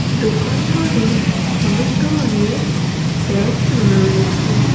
দোকানঘরে অনেক ধরণের ব্যাগ ঝুলানো রয়েছে।